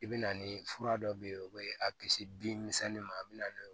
I bɛ na ni fura dɔ bɛ yen o bɛ a kisi bin misɛnnin ma a bɛ n'o ye